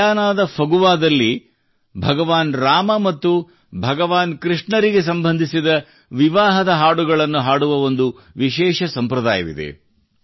ಗಯಾನಾದ ಫಗುವಾದಲ್ಲಿ ಭಗವಾನ್ ರಾಮ ಮತ್ತು ಭಗವಾನ್ ಕೃಷ್ಣನಿಗೆ ಸಂಬಂಧಿಸಿದ ವಿವಾಹದ ಹಾಡುಗಳನ್ನು ಹಾಡುವ ಒಂದು ವಿಶೇಷ ಸಂಪ್ರದಾಯವಿದೆ